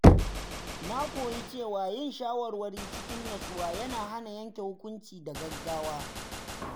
Na koyi cewa yin shawarwari cikin natsuwa yana hana yanke hukunci da gaggawa.